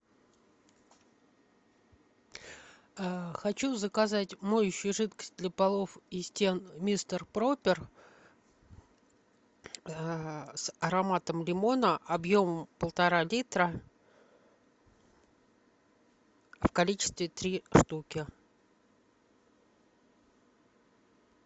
а хочу заказать моющую жидкость для полов и стен мистер пропер с ароматом лимона объем полтора литра в количестве три штуки